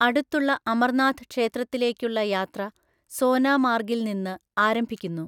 അടുത്തുള്ള അമർനാഥ് ക്ഷേത്രത്തിലേക്കുള്ള യാത്ര സോനാമാർഗിൽ നിന്ന് ആരംഭിക്കുന്നു.